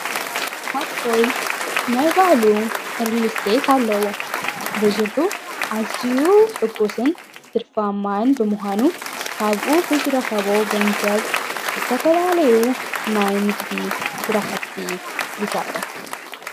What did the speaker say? ኣጶይ ናይ ባዕሉ ኣርሊስሌየት ኣለዎ ብዙርኁ ኣዝኡ ሕጉስን ትድፋማይን ብምዃኑ ካብኡ ብዝረኸቦ ገንዘብ ዝተፈላለዩ ናይ ንግዲ ሠራሕቲ ይሠርሕ።